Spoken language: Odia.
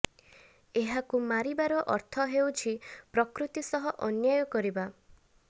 ଏହାକୁ ମାରିବାର ଅର୍ଥ ହେଉଛି ପ୍ରକୃତି ସହ ଅନ୍ୟାୟ କରିବା